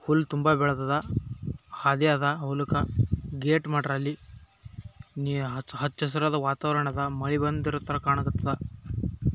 ಹುಲ್ಲ್ ತುಂಬ ಬೆಳ್ದದ ಹಾದಿಯದ ಹೊಲಕ್ ಗೇಟ್ ಮಾಡ್ಯಾರ ಅಲ್ಲಿ ನೀರ ಹಚ್ಚ್ ಹಸರದ ವಾತಾವರ್ಣದ ಮಳಿ ಬಂದಿರತರ ಕಾಣಕ್ಕತ್ತದ.